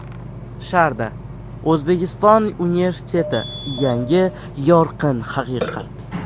ShardaO‘zbekiston universiteti yangi yorqin haqiqat!